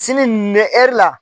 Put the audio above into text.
Sini nin la.